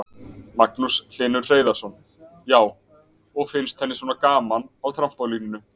Magnús Hlynur Hreiðarsson: Já, og finnst henni svona gaman á trampólíninu?